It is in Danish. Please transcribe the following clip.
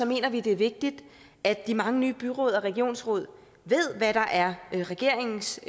mener vi det er vigtigt at de mange nye byråd og regionsråd ved hvad der er regeringens